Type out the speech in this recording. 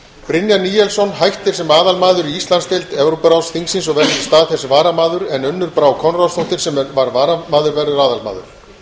brynjar níelsson hættir sem aðalmaður í íslandsdeild evrópuráðsþingsins og verður í stað þess varamaður en unnur brá konráðsdóttir sem var varamaður verður aðalmaður